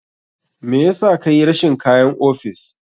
Me yasa kayi rashin kayan ofis?